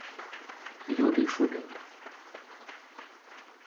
юрий шубин